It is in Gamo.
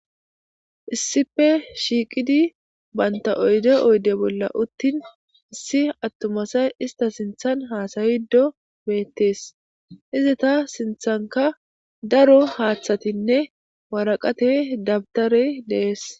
Issife shiiqidi banta oyde oyde bolla uttin issi attumasay ista sinthan haasayido beettees iza ta sinthanka daro haaththatinne waraqate dabtare dees.